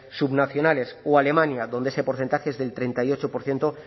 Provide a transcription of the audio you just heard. subnacionales o alemania donde ese porcentaje es del treinta y ocho por ciento